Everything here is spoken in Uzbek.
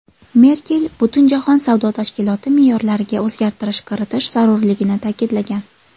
Merkel Butunjahon savdo tashkiloti me’yorlariga o‘zgartirish kiritish zarurligini ta’kidlagan.